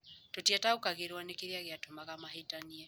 Tũtiataũkagĩrũo nĩ kĩrĩa gĩatũmaga mahĩtanie.